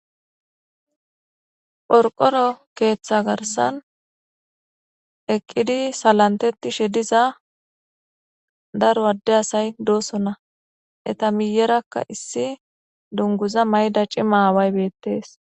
qorqoro keeththa garsan eqqidi salanteti she diza daro adde asay doosona eta miyerakka issi dunguza mayda cimaaway beettees.